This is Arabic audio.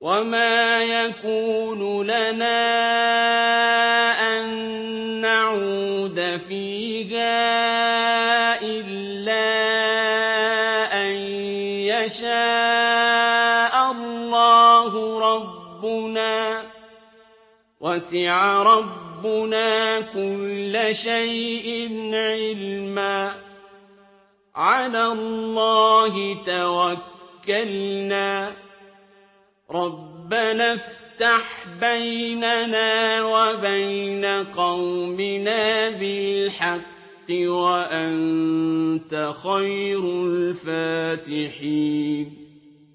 وَمَا يَكُونُ لَنَا أَن نَّعُودَ فِيهَا إِلَّا أَن يَشَاءَ اللَّهُ رَبُّنَا ۚ وَسِعَ رَبُّنَا كُلَّ شَيْءٍ عِلْمًا ۚ عَلَى اللَّهِ تَوَكَّلْنَا ۚ رَبَّنَا افْتَحْ بَيْنَنَا وَبَيْنَ قَوْمِنَا بِالْحَقِّ وَأَنتَ خَيْرُ الْفَاتِحِينَ